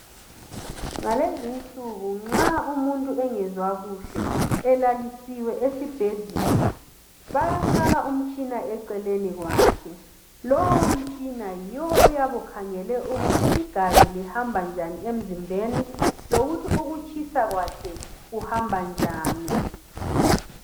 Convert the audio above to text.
Ngalezi insuku nxa umuntu engezwa kuhle elaliswe esibhedlela bayefaka umtshina eceleni kwakhe. Lowu mtshina yiwo oyabe ukhangele ukuthi igazi ilhamba njani emzimbeni lokuthi ukutshisa kwakhe kuhamba njani.